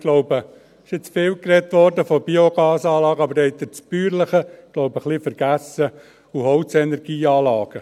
glaube, es wurde jetzt viel von Biogasanlagen gesprochen, aber dabei haben Sie, glaube ich, das «bäuerliche» ein wenig vergessen – Biogas- und Holzenergieanlagen: